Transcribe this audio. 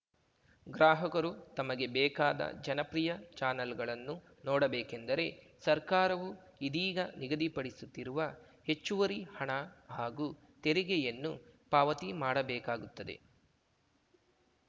ಗ್ರಾಹಕರು ತಮಗೆ ಬೇಕಾದ ಜನಪ್ರಿಯ ಚಾನಲ್‌ಗಳನ್ನು ನೋಡಬೇಕೆಂದರೆ ಸರ್ಕಾರವು ಇದೀಗ ನಿಗದಿಪಡಿಸುತ್ತಿರುವ ಹೆಚ್ಚುವರಿ ಹಣ ಹಾಗೂ ತೆರಿಗೆಯನ್ನು ಪಾವತಿ ಮಾಡಬೇಕಾಗುತ್ತದೆ